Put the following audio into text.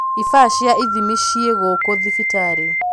Ibaa cia ithimi ci gũkũ thibitarĩ